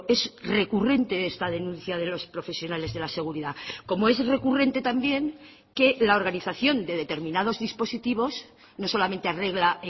es recurrente esta denuncia de los profesionales de la seguridad como es recurrente también que la organización de determinados dispositivos no solamente arregla